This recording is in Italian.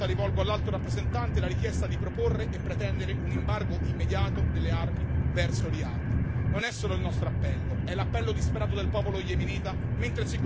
I nostri Stati membri sono complici, questa è la verità, e per l'ennesima volta rivolgo all'Alto rappresentante la richiesta di proporre e pretendere un embargo immediato delle armi verso Riad.